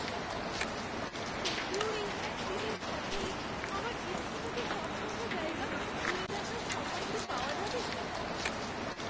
টোকিওর এই একদিনের সফরে আমার ইচ্ছামতো সবকটা জায়গা ঘুরে দেখার সময় কি পাওয়া যাবে?